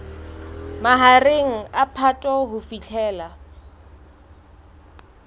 mahareng a phato ho fihlela